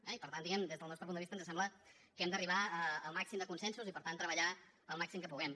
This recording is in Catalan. i per tant diguem que des del nostre punt de vista ens sembla que hem d’arribar al màxim de consensos i per tant treballar el màxim que puguem